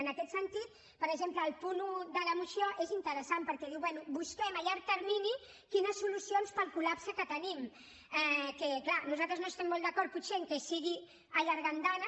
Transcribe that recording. en aquest sentit per exemple el punt un de la moció és interessant perquè diu bé busquem a llarg termini solucions per al col·lapse que tenim que clar nosaltres no estem molt d’acord potser que sigui allargar andanes